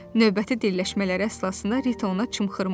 Növbəti dilləşmələr əsnasında Rito ona çımxırmışdı.